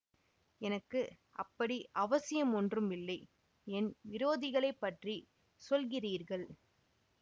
எனக்கு அப்படி அவசியம் ஒன்றும் இல்லை என் விரோதிகளைப் பற்றி சொல்கிறீர்கள்